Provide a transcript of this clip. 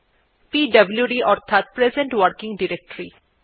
পিডব্লুড অর্থাৎ present working directory